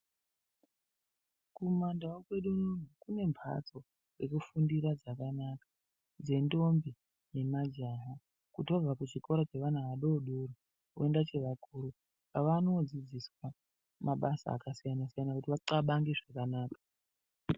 Kumandawu kwedu umu, kunembatso dzekufundira dzakanaka dzentombi nemajaha kuti vabva kuzvikora zvevana vadodori, vonda chevakuru, vanodzidziswa mabasa akasiyana siyana kuti vaxabange zvakanaka.